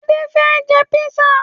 Adé fẹ́ jẹ písà